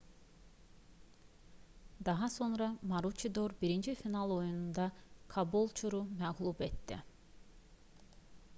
daha sonra maruçidor birinci final oyununda kabolçuru məğlub etdi